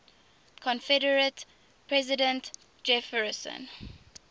confederate president jefferson